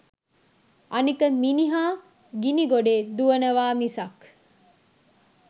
අනික මිනිහා ගිණිගොඩේ දුවනවා මිසක්